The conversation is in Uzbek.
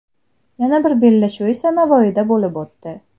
Yana bir bellashuv esa Navoiyda bo‘lib o‘tdi.